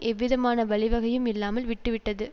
எவ்விதமான வழிவகையும் இல்லாமல் விட்டு விட்டது